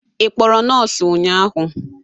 Ị kpọrọ nọọsụ ụnyahụ?